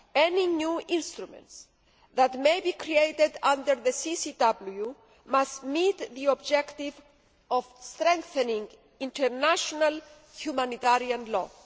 any new instruments that may be created under the CCW must meet the objective of strengthening international humanitarian law.